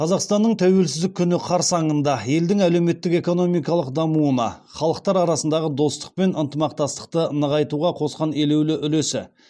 қазақстанның тәуелсіздік күні қарсаңында елдің әлеуметтік экономикалық дамуына халықтар арасындағы достық пен ынтымақтастықты нығайтуға қосқан елеулі үлесі